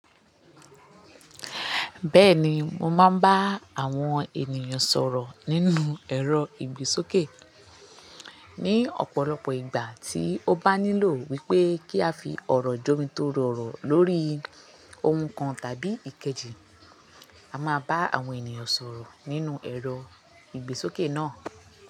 Bẹ́ẹ̀ni mo máa bá àwọn ènìyàn sọ̀rọ̀ nínú ẹ̀rọ ìgbésókè. Ni ọ̀pọ̀lọpọ̀ ìgbà tí ó bá nílò wípé kí a fi ọ̀rọ̀ jómitórọ oro lórí ohun kan tàbí ìkejì, a máa bá àwọn ènìyàn sọ̀rọ̀ nínú ẹ̀rọ ìgbésókè náà.